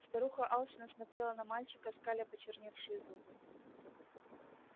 старуха алчно смотрела на мальчика скаля почерневшие зубы